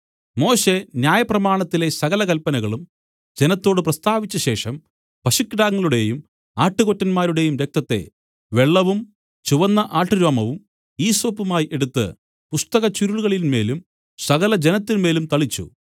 മോശെ ന്യായപ്രമാണത്തിലെ സകല കല്പനയും ജനത്തോടു പ്രസ്താവിച്ച ശേഷം പശുക്കിടാക്കളുടെയും ആട്ടുകൊറ്റന്മാരുടെയും രക്തത്തെ വെള്ളവും ചുവന്ന ആട്ടുരോമവും ഈസോപ്പുമായി എടുത്തു പുസ്തക ചുരുളുകളിന്മേലും സകല ജനത്തിന്മേലും തളിച്ചു